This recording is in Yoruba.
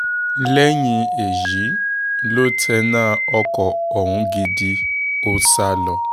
lẹ́yìn èyí ló tẹná ọkọ̀ ọ̀hún gidi ó sá lọ